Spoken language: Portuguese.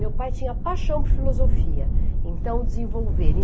Meu pai tinha paixão por filosofia, então desenvolveram.